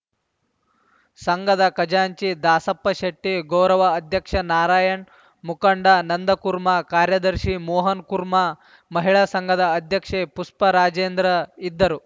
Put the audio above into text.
ಸಂಘದ ಖಜಾಂಚಿ ದಾಸಪ್ಪಶೆಟ್ಟಿ ಗೌರವ ಅಧ್ಯಕ್ಷ ನಾರಾಯಣ್‌ ಮುಖಂಡ ನಂದಕುರ್ಮಾ ಕಾರ್ಯದರ್ಶಿ ಮೋಹನ್‌ಕುರ್ಮಾ ಮಹಿಳಾ ಸಂಘದ ಅಧ್ಯಕ್ಷೆ ಪುಷ್ಪ ರಾಜೇಂದ್ರ ಇದ್ದರು